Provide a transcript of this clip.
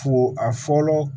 Fo a fɔlɔ